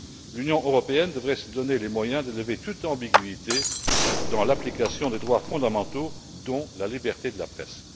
L'Union européenne devrait se donner les moyens de lever toute ambiguïté dans l'application des droits fondamentaux, dont la liberté de la presse.